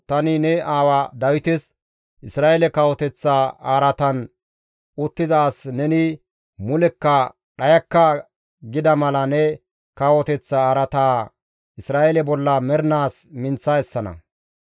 tani ne aawa Dawites, ‹Isra7eele kawoteththa araatan uttiza as neni mulekka dhayakka› gida mala ne kawoteththa araataa Isra7eele bolla mernaas minththa essana.